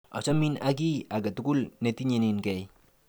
Achamin ak kiy aketukul netinyeninkey .